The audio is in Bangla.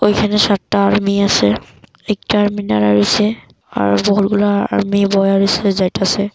ওইখানে সাতটা আর্মি আছে একটা আর্মি দাঁড়ায় রয়েছে আর আর্মি বইয়া রইসে যাইতাসে।